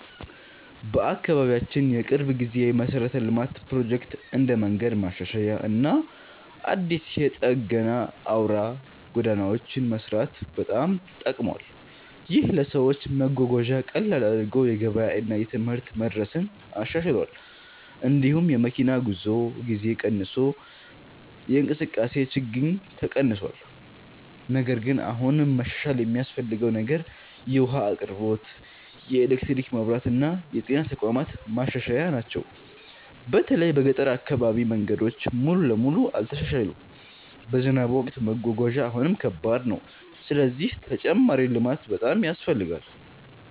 በአካባቢያችን የቅርብ ጊዜ የመሠረተ ልማት ፕሮጀክት እንደ መንገድ ማሻሻያ እና አዲስ የጠገና አውራ ጎዳናዎች መስራት በጣም ጠቅሟል። ይህ ለሰዎች መጓጓዣን ቀላል አድርጎ የገበያ እና የትምህርት መድረስን አሻሽሏል። እንዲሁም የመኪና ጉዞ ጊዜ ቀንሶ የእንቅስቃሴ ችግኝ ተቀንሷል። ነገር ግን አሁንም መሻሻል የሚያስፈልገው ነገር የውሃ አቅርቦት፣ የኤሌክትሪክ መብራት እና የጤና ተቋማት ማሻሻያ ናቸው። በተለይ በገጠር አካባቢ መንገዶች ሙሉ በሙሉ አልተሻሻሉም፣ በዝናብ ወቅት መጓጓዣ አሁንም ከባድ ነው። ስለዚህ ተጨማሪ ልማት በጣም ያስፈልጋል።